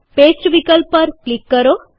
paste વિકલ્પ પર click કરો